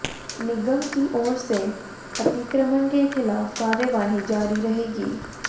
निगम की ओर से अतिक्रमण के खिलाफ कार्यवाही जारी रहेगी